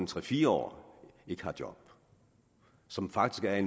tre fire år ikke har job og som faktisk er i